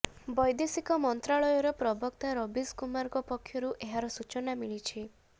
ବୈଦେଶିକ ମନ୍ତ୍ରାଳୟର ପ୍ରବକ୍ତା ରବୀଶ କୁମାରଙ୍କ ପକ୍ଷରୁ ଏହାର ସୂଚନା ମିଳିଛି